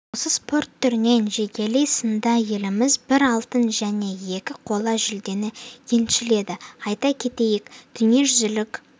осы спорт түрінен жекелей сында еліміз бір алтын және екі қола жүлдені еншіледі айта кетейік дүниежүзілік